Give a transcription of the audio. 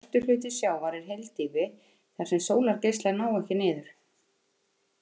Stærstur hluti sjávar er hyldýpi þar sem sólargeislar ná ekki niður.